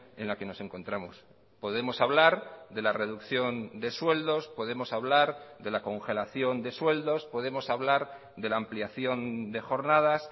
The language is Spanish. en la que nos encontramos podemos hablar de la reducción de sueldos podemos hablar de la congelación de sueldos podemos hablar de la ampliación de jornadas